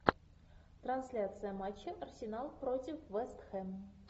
трансляция матча арсенал против вест хэм